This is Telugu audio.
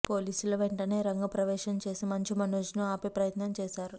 పోలీసుల వెంటనే రంగ ప్రవేశం చేసి మంచు మనోజ్ను ఆపే ప్రయత్నం చేశారు